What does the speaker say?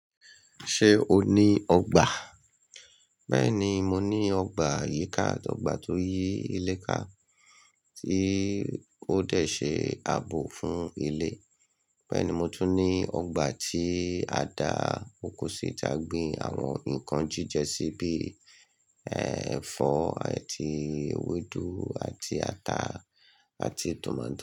Ṣé o ní ọgbà? Bẹ́ẹ̀ni, mo ní ọgbà yíká àti ọgbà tó yí ilé ká, tí ó dẹ̀ ṣe ààbò fún ilé. Bẹ́ẹ̀ ni, mo tún ní ọgbà tí a dá oko sí ta gbin àwọn ǹkan jíjẹ sí bí i, ẹ́, ẹ̀fọ́ àti ewédú àti ata àti tòmáto.